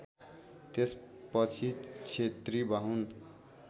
त्यसपछि क्षेत्री बाहुन